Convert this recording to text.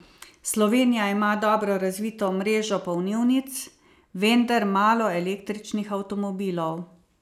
Slovenija ima dobro razvito mrežo polnilnic, vendar malo električnih avtomobilov.